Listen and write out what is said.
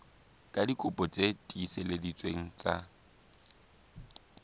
ka dikopi tse tiiseleditsweng tsa